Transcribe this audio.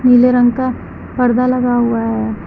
नीले रंग का पर्दा लगा हुआ है।